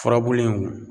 Furabulu in